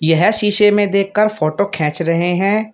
यह शीशे में देख कर फोटो खेंच रहे हैं।